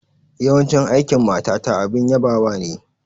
Yawan aikin matata abin yabawa ne.